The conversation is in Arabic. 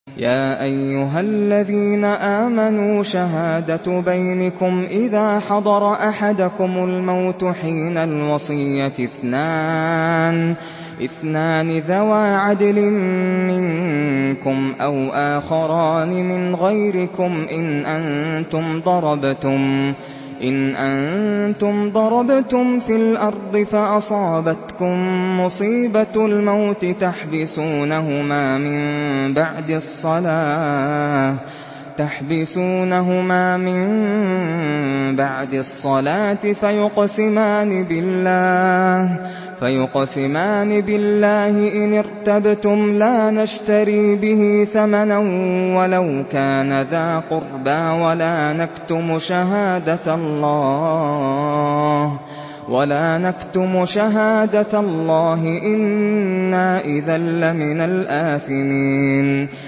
يَا أَيُّهَا الَّذِينَ آمَنُوا شَهَادَةُ بَيْنِكُمْ إِذَا حَضَرَ أَحَدَكُمُ الْمَوْتُ حِينَ الْوَصِيَّةِ اثْنَانِ ذَوَا عَدْلٍ مِّنكُمْ أَوْ آخَرَانِ مِنْ غَيْرِكُمْ إِنْ أَنتُمْ ضَرَبْتُمْ فِي الْأَرْضِ فَأَصَابَتْكُم مُّصِيبَةُ الْمَوْتِ ۚ تَحْبِسُونَهُمَا مِن بَعْدِ الصَّلَاةِ فَيُقْسِمَانِ بِاللَّهِ إِنِ ارْتَبْتُمْ لَا نَشْتَرِي بِهِ ثَمَنًا وَلَوْ كَانَ ذَا قُرْبَىٰ ۙ وَلَا نَكْتُمُ شَهَادَةَ اللَّهِ إِنَّا إِذًا لَّمِنَ الْآثِمِينَ